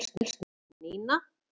Nína